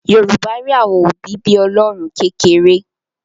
Yorùbá rí àwọn òbí bí Ọlọ́run kékeré